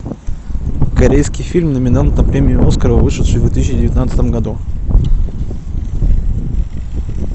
корейский фильм номинант на премию оскара вышедший в две тысячи девятнадцатом году